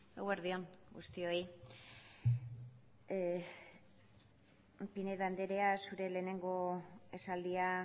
eguerdi on guztioi pinedo andrea zure lehenengo esaldia